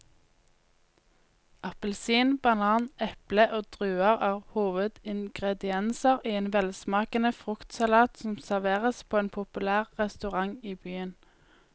Appelsin, banan, eple og druer er hovedingredienser i en velsmakende fruktsalat som serveres på en populær restaurant i byen.